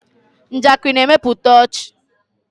Njakịrị na-emepụta ọchị.